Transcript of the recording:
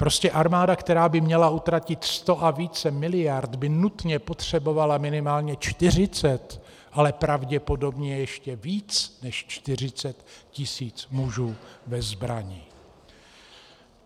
Prostě armáda, která by měla utratit sto a více miliard, by nutně potřebovala minimálně 40, ale pravděpodobně ještě více než 40 tisíc mužů ve zbrani.